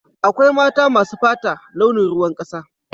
Akwai mata masu fata launin ruwan kasa.